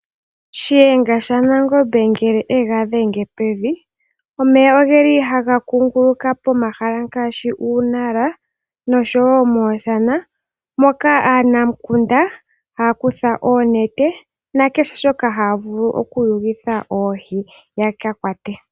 Shiyenga shaNangombe ngele e ga dhenge pevi, omeya oge li haga kuunguluka pomahala ngaashi uunala noshowo mooshana moka aanamukunda haa kutha oonete na kehe shoka haa vulu okuyulitha oohi ya ka kwate.